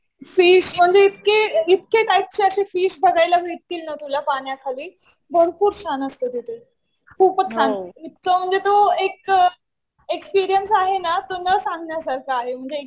Fish म्हणजे इतके इतके टाईपचे असे फिश बघायला भेटतील ना तुला पाण्याखाली. भरपूर छान असतं तिथे. खूपच छान. इतकं म्हणजे तो एक एक्सपीरियन्स आहे ना तो न सांगण्यासारखा आहे म्हणजे .